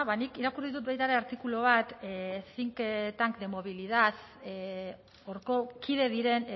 nik irakurri dut baita ere artikulu bat think tank movilidad horko kide diren